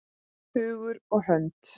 Hugur og hönd.